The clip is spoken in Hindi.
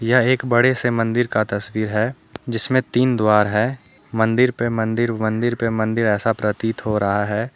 यह एक बड़े से मंदिर का तस्वीर है जिसमें तीन द्वार है मंदिर पे मंदिर मंदिर पे मंदिर ऐसा प्रतीत हो रहा है।